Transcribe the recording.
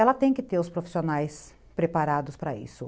Ela tem que ter os profissionais preparados para isso.